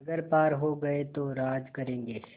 अगर पार हो गये तो राज करेंगे